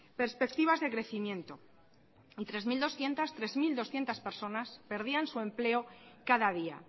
perspectivas de crecimiento tres mil doscientos personas perdían su empleo cada día